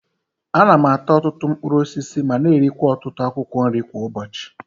Ana m ata ọtụtụ mkpụrụ osisi ma na-erikwa ọtụtụ akwụkwọ nri kwa ụbọchi.